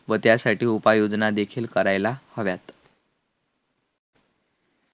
व त्यासाठी उपाययोजना देखील करायला हव्यात